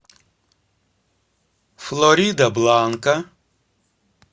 флоридабланка